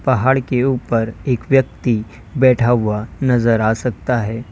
पहाड़ के ऊपर एक व्यक्ति बैठा हुआ नजर आ सकता है।